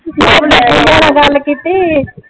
ਗੱਲ ਕੀਤੀ?